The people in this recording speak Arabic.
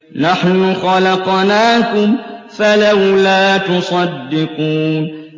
نَحْنُ خَلَقْنَاكُمْ فَلَوْلَا تُصَدِّقُونَ